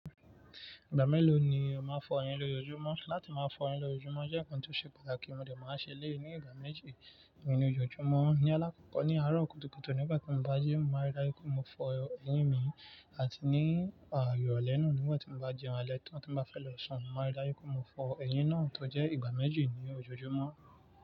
Ìgbà mélòó ni o máa ń fọ eyín ní ojoojúmọ́? Láti máa fọ eyín ní ojoojúmọ́ jẹ́ ǹkan tó ṣe pàtàkì, mo dà máa ń ṣe eleyii ní ìgbà méjì nínú ojoojúmọ́. Ni alákọ̀ọ́kọ́ ni aarọ kùtùkùtù nígbà tí mo bá jéun, mo máa rí dájú pé mo fọ eyín mi àti ní irole náà nígbà tí mo bá jẹun alẹ́ tán tí mo bá fẹ́ lọ sùn, mo máa rí dájú pé mo fọ eyín náà tó jẹ́ ìgbà méjì ní ojoojúmọ́